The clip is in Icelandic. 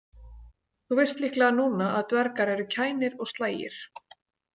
Þú veist líklega núna að dvergar eru kænir og slægir.